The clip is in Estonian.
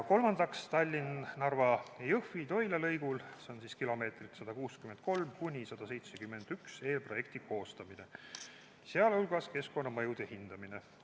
Kolmandaks, Tallinna–Narva–Jõhvi–Toila lõigul kilomeetritele 163–171 eelprojekti koostamine, sh keskkonnamõjude hindamine.